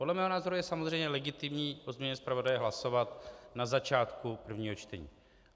Podle mého názoru je samozřejmě legitimní o změně zpravodaje hlasovat na začátku prvního čtení.